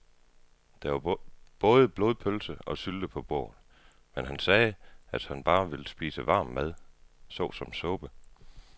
Der var både blodpølse og sylte på bordet, men han sagde, at han bare ville spise varm mad såsom suppe.